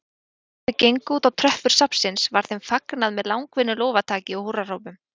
Þegar þau gengu útá tröppur safnsins var þeim fagnað með langvinnu lófataki og húrrahrópum.